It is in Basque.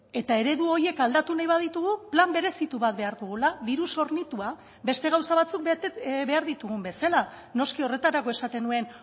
eta eredu horiek aldatu nahi baditugu plan berezitu bat behar dugula diruz hornitua beste gauza batzuk behar ditugun bezala noski horretarako esaten nuen